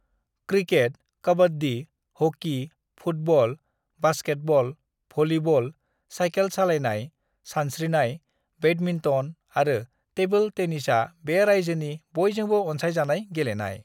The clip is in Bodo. "Cricket, kabaddi, hockey, football, basketball, volleyball, cycle सालायनाय, सानस्रिनाय, बैडमिन्टन आरो टेबोल टेनिसआ बे रायजोनि बयजोंबो अनसायजानाय गेलेनाय।"